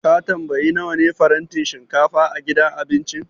Ka tambayi nawa ne farantin shinkafa a gidan abincin?